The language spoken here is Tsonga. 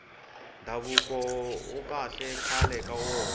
ndhavuko awuri kahle khale ka wona